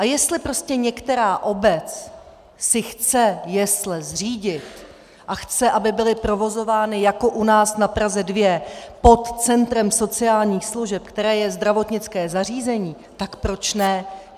A jestli prostě některá obec si chce jesle zřídit a chce, aby byly provozovány jako u nás na Praze 2 pod centrem sociálních služeb, které je zdravotnické zařízení, tak proč ne?